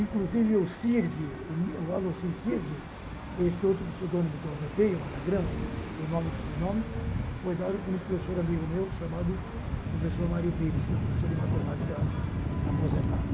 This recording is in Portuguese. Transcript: Inclusive,o sirg o Alocine Sirg, esse outro pseudônimo que eu adotei, um anagrama do nome e do subnome, foi dado por um professor amigo meu chamado professor Mário Pires, que é um professor de matemática aposentado.